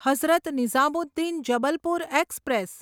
Hazrat Nizamuddin Jabalpur express